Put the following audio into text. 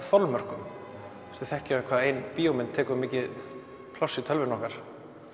þolmörkum við þekkjum hvað ein bíómynd tekur mikið pláss í tölvunni okkar